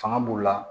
Fanga b'u la